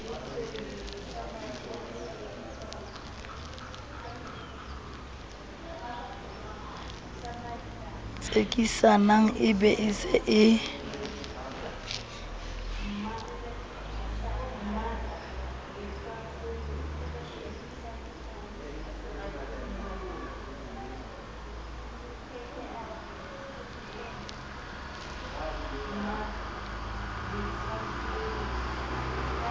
tsekisang be e se e